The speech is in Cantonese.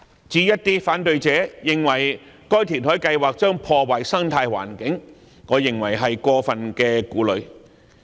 至於反對者認為該填海計劃將破壞生態環境，我認為是過分顧慮。